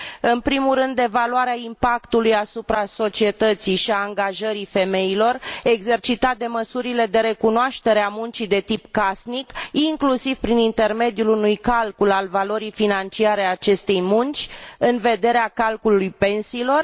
În primul rând, evaluarea impactului asupra societății și angajării femeilor exercitat de măsurile de recunoaștere a muncii de tip casnic, inclusiv prin intermediul unui calcul al valorii financiare a acestei munci în vederea calculului pensiilor.